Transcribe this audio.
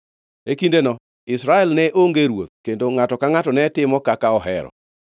E kindeno Israel ne onge ruoth; kendo ngʼato ka ngʼato ne timo kaka ohero.